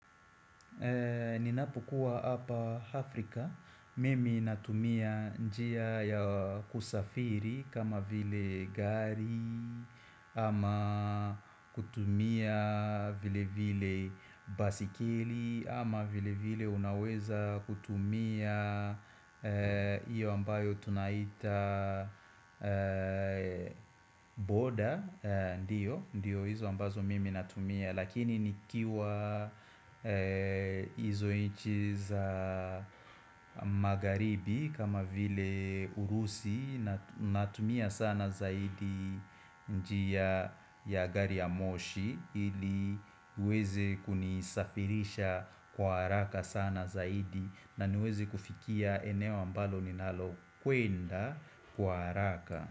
Ninapokuwa hapa Afrika, mimi natumia njia ya kusafiri kama vile gari, ama kutumia vile vile baiskeli, ama vile vile unaweza kutumia hiyo ambayo tunaita boda, ndiyo, ndiyo hizo ambazo mimi natumia. Lakini nikiwa hizo inchi za magharibi kama vile urusi Natumia sana zaidi njia ya gari ya moshi ili uweze kunisafirisha kwa haraka sana zaidi na niweze kufikia eneo ambalo ninalo kwenda kwa haraka.